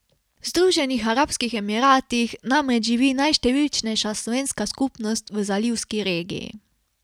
V Združenih arabskih emiratih namreč živi najštevilčnejša slovenska skupnost v zalivski regiji.